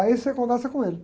Aí você conversa com ele.